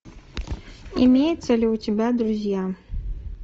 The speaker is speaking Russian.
имеются ли у тебя друзья